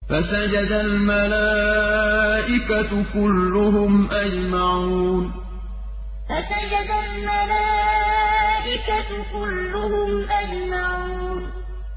فَسَجَدَ الْمَلَائِكَةُ كُلُّهُمْ أَجْمَعُونَ فَسَجَدَ الْمَلَائِكَةُ كُلُّهُمْ أَجْمَعُونَ